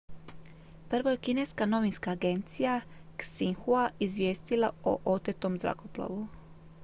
prvo je kineska novinska agencija xinhua izvijestila o otetom zrakoplovu